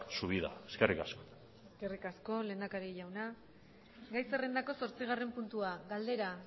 su vida eskerrik asko eskerrik asko lehendakari jauna gai zerrendako zortzigarren puntua galdera